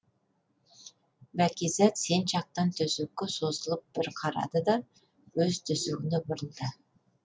бәкизат сен жатқан төсекке созылып бір қарады да өз төсегіне бұрылды